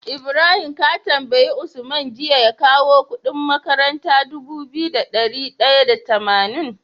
Ibrahim ka tambayi usman jiya ya kawo Ƙudin makarantar Dubu biyu da dari daya da tamanin